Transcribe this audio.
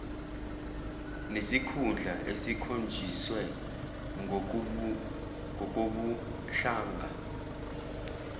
nesikhundla esikhonjiswe ngokobuhlanga